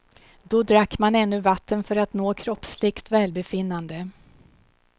Då drack man ännu vatten för att nå kroppsligt välbefinnande.